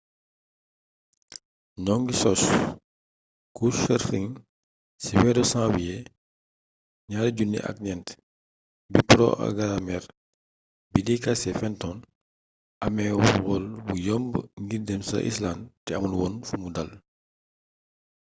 noo ngir sos couchsurfing ci weeru samwiyee 2004 bi poroagaramër bii di casey fenton amee wol bu yomb ngir dem ca islànd te amul woon fumuy dàl